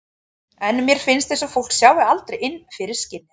En mér finnst eins og fólk sjái aldrei inn fyrir skinnið.